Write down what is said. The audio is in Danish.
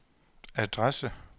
adresse